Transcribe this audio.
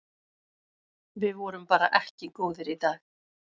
Við vorum bara ekki góðir í dag.